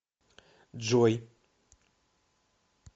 джой